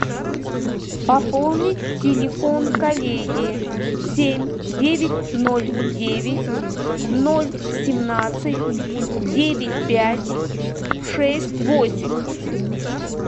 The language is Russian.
пополнить телефон коллеги семь девять ноль девять ноль семнадцать девять пять шесть восемь